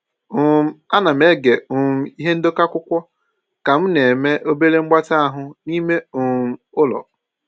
um Ana m ege um ihe ndekọ akwụkwọ ka m na-eme obere mgbatị ahụ n'ime um ụlọ.